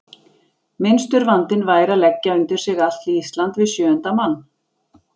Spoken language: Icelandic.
Minnstur vandinn væri að leggja undir sig allt Ísland við sjöunda mann.